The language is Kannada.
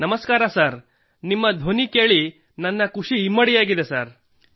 ನಮಸ್ಕಾರ ಸರ್ ನಿಮ್ಮ ಧ್ವನಿ ಕೇಳಿ ನನ್ನ ಖುಷಿ ಇಮ್ಮಡಿಯಾಗಿದೆ ಸರ್